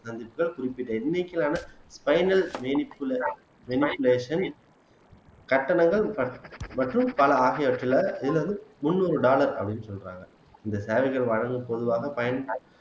கட்டணங்கள் மற்றும் பல ஆகியவற்றிலே முந்நூறு டாலர் அப்படின்னு சொல்றாங்க இந்த சேவைகள் வழங்கும் பொதுவாக பயன்